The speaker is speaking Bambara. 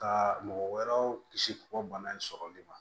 Ka mɔgɔ wɛrɛw kisi k'u ka bana in sɔrɔli ma